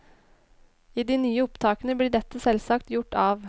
I de nye opptakene blir dette selvsagt gjort av.